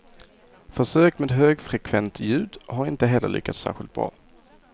Försök med högfrekvent ljud har inte heller lyckats särskilt bra.